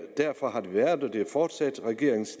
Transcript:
regeringens